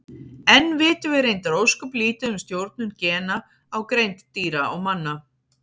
Enn vitum við reyndar ósköp lítið um stjórnun gena á greind dýra og manna.